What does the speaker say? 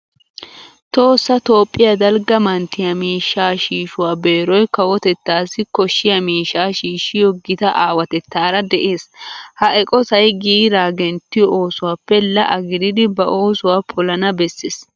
Tohossa toophphiya dalgga manttiya miishshaa shiishuwa beeroy kawotettaassi koshshiya miishshaa shiishshiyo gita aawatettaara de'ees. Ha eqotay giiraa genttiyo oosuwappe la"a gididi ba oosuwa polana bessees.